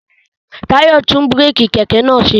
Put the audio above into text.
Tayo tún búrèkì kẹ̀kẹ́ naa ṣe